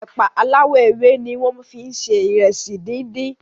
ẹ̀pà aláwò ewé ní wón fí se Ìrẹsì dín dín.